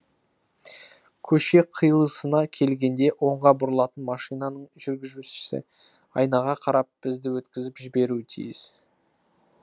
көше қиылысына келгенде оңға бұрылатын машинаның жүргізушісі айнаға қарап бізді өткізіп жіберуі тиіс